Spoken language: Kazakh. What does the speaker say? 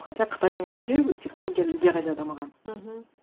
хотя қытайдың өзінде технология әлдеқайда дамыған мхм